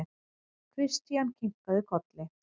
Christian kinkaði kolli.